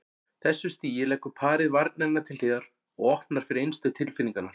þessu stigi leggur parið varnirnar til hliðar og opnar fyrir innstu tilfinningarnar.